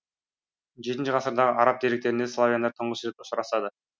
жетінші ғасырдағы араб деректерінде славяндар тұңғыш рет ұшырасады